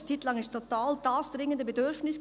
Eine Zeit lang war es total dringende Bedürfnis: